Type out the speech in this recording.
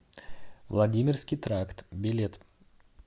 владимирский тракт билет